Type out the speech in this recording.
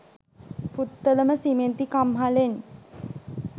පුත්තලම සිමෙන්ති කම්හලෙන්.